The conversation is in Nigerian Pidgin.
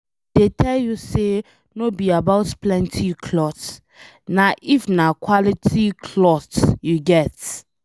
I dey tell you say no be about plenty cloth, na if na quality cloth you get